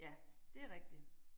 Ja det rigtigt